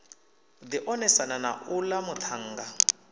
ḓi onesana na uḽa muṱhannga